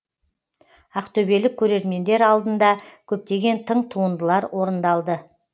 ақтөбелік көрермендер алдында көптеген тың туындылар орындалды